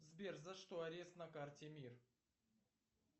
сбер за что арест на карте мир